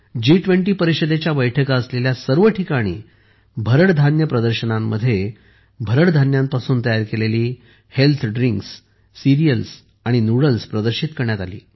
G20 परिषदेच्या बैठका असलेल्या सर्व ठिकाणी भरड धान्य प्रदर्शनांमध्ये भरड धान्यांपासून तयार केलेली हेल्थ ड्रिंक्स सीरियल्स आणि नूडल्स प्रदर्शित करण्यात आली